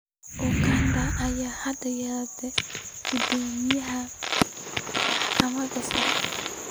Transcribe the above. Uganda ayaa hadda yeelatay guddoomiyaha maxkamadda sare.